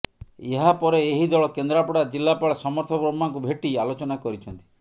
ଏହାପରେ ଏହି ଦଳ କେନ୍ଦ୍ରାପଡା ଜିଲ୍ଲାପାଳ ସମର୍ଥ ବର୍ମାଙ୍କୁ ଭେଟି ଆଲୋଚନା କରିଛନ୍ତି